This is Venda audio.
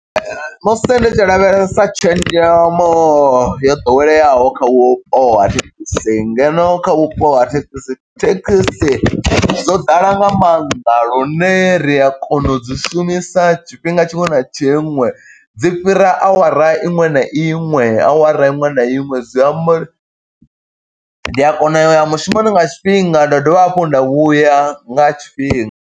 Musi ndi tshi lavhelesa tshenzhemo yo ḓoweleaho kha vhupo ha thekhisi ngeno kha vhupo ha thekhisi, thekhisi dzo ḓala nga maanḓa lune ri a kona u dzi sa u shumisa tshifhinga tshiṅwe na tshiṅwe. Dzi fhira awara iṅwe na iṅwe, awara iṅwe na iṅwe zwi amba uri ndi a kona u ya mushumoni nga tshifhinga, nda dovha hafhu nda vhuya nga tshifhinga.